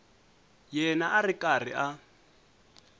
yena a ri karhi a